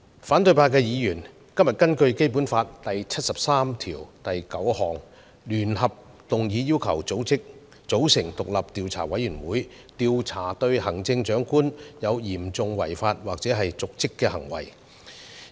反對派議員今天根據《基本法》第七十三條第九項聯合動議議案，要求組成獨立調查委員會，調查對行政長官有嚴重違法或瀆職行為的指控。